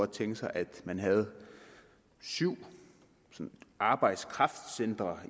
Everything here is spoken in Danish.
tænke sig at man havde syv arbejdskraftcentre